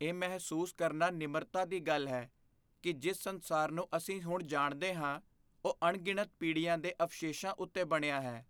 ਇਹ ਮਹਿਸੂਸ ਕਰਨਾ ਨਿਮਰਤਾ ਦੀ ਗੱਲ ਹੈ ਕਿ ਜਿਸ ਸੰਸਾਰ ਨੂੰ ਅਸੀਂ ਹੁਣ ਜਾਣਦੇ ਹਾਂ ਉਹ ਅਣਗਿਣਤ ਪੀੜ੍ਹੀਆਂ ਦੇ ਅਵਸ਼ੇਸ਼ਾਂ ਉੱਤੇ ਬਣਿਆ ਹੈ।